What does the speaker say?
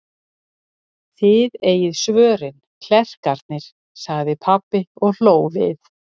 Þið eigið svörin, klerkarnir, sagði pabbi og hló við.